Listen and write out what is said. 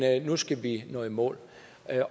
nu skal vi nå i mål